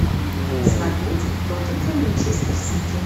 смотреть тоттенхэм манчестер сити